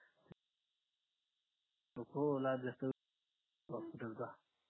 हो लाभ जास्त hospital चा